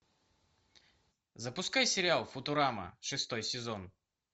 запускай сериал футурама шестой сезон